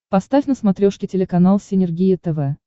поставь на смотрешке телеканал синергия тв